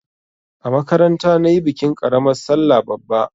A makaranta na yi bikin ƙaramar sallah bara.